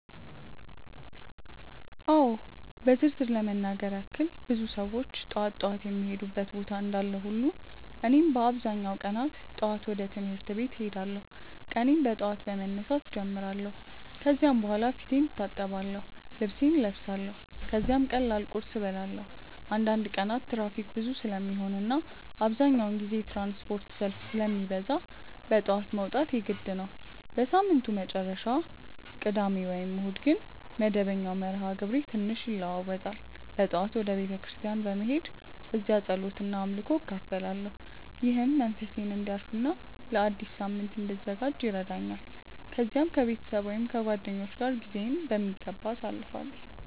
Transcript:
አዎ በዝርዝር ለመናገር ያክል ብዙ ሰዎች ጠዋት ጠዋት የሚሄዱበት ቦታ እንዳለ ሁሉ እኔም በአብዛኛው ቀናት ጠዋት ወደ ትምህርት ቤት እሄዳለሁ። ቀኔን በጠዋት በመነሳት እጀምራለሁ ከዚያ በኋላ ፊቴን እታጠብአለሁ፣ ልብሴን እለብሳለሁ ከዚያም ቀላል ቁርስ እበላለሁ። አንዳንድ ቀናት ትራፊክ ብዙ ስለሚሆን እና አብዛኛውን ጊዜ የትራንስፖርት ሰልፍ ስለሚበዛ በጠዋት መውጣት የግድ ነው። በሳምንቱ መጨረሻ (ቅዳሜ ወይም እሁድ) ግን መደበኛው መርሃ ግብሬ ትንሽ ይለዋዋጣል። በጠዋት ወደ ቤተ ክርስቲያን በመሄድ እዚያ ጸሎት እና አምልኮ እካፈላለሁ፣ ይህም መንፈሴን እንዲያርፍ እና ለአዲስ ሳምንት እንድዘጋጅ ይረዳኛል። ከዚያም ከቤተሰብ ወይም ከጓደኞች ጋር ጊዜዬን በሚገባ አሳልፋለሁ።